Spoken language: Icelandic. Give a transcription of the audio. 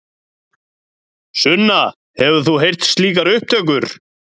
Sunna: Hefur þú heyrt slíkar upptökur?